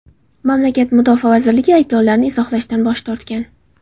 Mamlakat mudofaa vazirligi ayblovlarni izohlashdan bosh tortgan.